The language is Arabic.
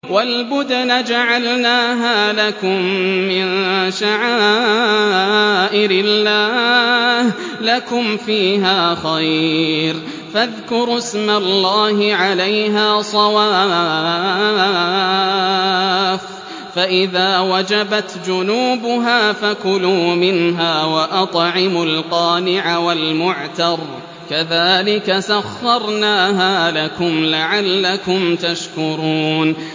وَالْبُدْنَ جَعَلْنَاهَا لَكُم مِّن شَعَائِرِ اللَّهِ لَكُمْ فِيهَا خَيْرٌ ۖ فَاذْكُرُوا اسْمَ اللَّهِ عَلَيْهَا صَوَافَّ ۖ فَإِذَا وَجَبَتْ جُنُوبُهَا فَكُلُوا مِنْهَا وَأَطْعِمُوا الْقَانِعَ وَالْمُعْتَرَّ ۚ كَذَٰلِكَ سَخَّرْنَاهَا لَكُمْ لَعَلَّكُمْ تَشْكُرُونَ